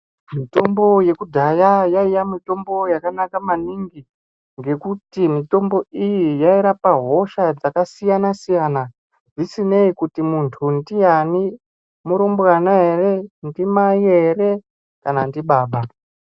Mitombi yedhaya yaiya mitombo yakanala maningi ngekuti mitombi iyi yairapa hosha dzakasiyana-siyana zvisinei kuti muntu ndiani murumbwana ere ndimai ere kana ndibaba.